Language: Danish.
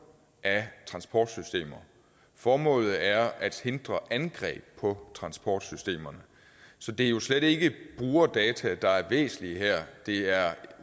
af transportsystemer formålet er at hindre angreb på transportsystemerne så det er jo slet ikke brugerdata der er væsentlige her det er